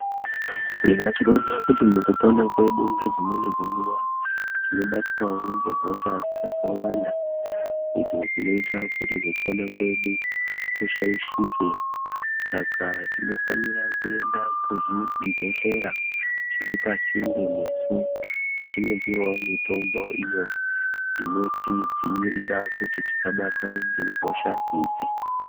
Tinoona kuti mukupona kwedu ngedzimweni dzenguwa tino batwawo ngehosha dzakawanda idzo dzinoita kuti kupona kwedu kushaishike saka tinofanira kuenda kuzvi bhedhlera zviri pasinde nesu tichindopiwawo mitombo iyo inoti dziirira kuti tisa batwa nge hosha idzi.